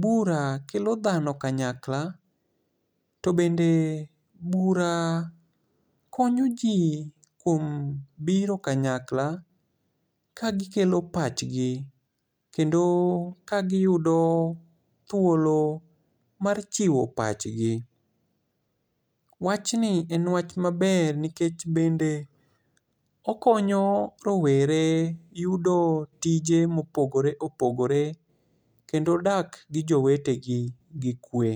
bura kelo dhano kanyakla. To bende bura konyo ji kuom biro kanyakla. Ka gikelo pachgi, kendo ka giyudo thuolo mar chiwo pachgi. Wachni en each maber, to bende okonyo rowere yudo tije ma opogore opogore kendo dak gi jowete gi kwe.